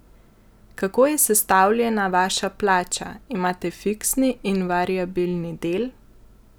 Kako je sestavljena vaša plača, imate fiksni in variabilni del?